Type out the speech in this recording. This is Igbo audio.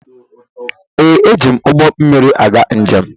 Ee, eji m ụgbọ mmiri aga njem.